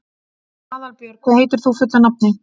Aðalbjörn, hvað heitir þú fullu nafni?